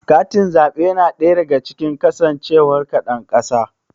Katin zaɓe yana ɗaya daga cikin shaidar kasancewar ka ɗan ƙasa.